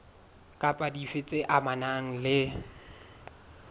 kapa dife tse amanang le